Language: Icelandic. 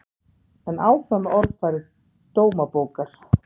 En áfram með orðfæri Dómabókar